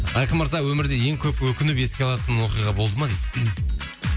айқын мырза өмірде ең көп өкініп еске алатын оқиға болды ма дейді